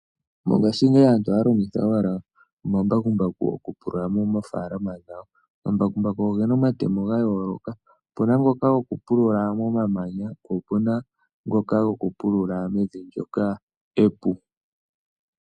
Mongashingeyi aantu ohaya longitha owala omambakumbaku okupulula moofaalama dhawo. Omambakumbaku oge na omatemo ga yooloka. Opu na ngoka gokupulula momamanya po opu na ngoka gokupulula mevi ndyoka epu.